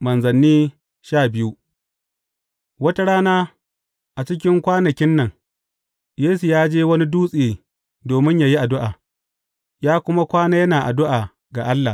Manzanni sha biyu Wata rana, a cikin kwanakin nan, Yesu ya je wani dutse domin yă yi addu’a, ya kuma kwana yana addu’a ga Allah.